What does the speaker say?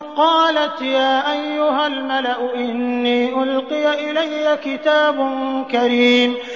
قَالَتْ يَا أَيُّهَا الْمَلَأُ إِنِّي أُلْقِيَ إِلَيَّ كِتَابٌ كَرِيمٌ